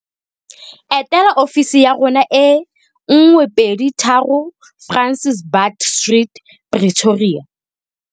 Etela ofisi ya rona e 123 Francis Baard Street, Pretoria.